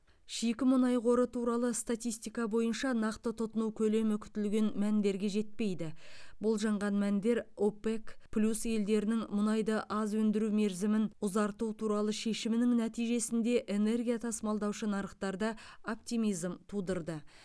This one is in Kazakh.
шикі мұнай қоры туралы статистика бойынша нақты тұтыну көлемі күтілген мәндерге жетпейді болжанған мәндер опек плюс елдерінің мұнайды аз өндіру мерзімін ұзарту туралы шешімінің нәтижесінде энергия тасымалдаушы нарықтарда оптимизм тудырды